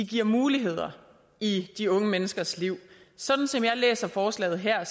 giver muligheder i de unge menneskers liv sådan som jeg læser forslaget her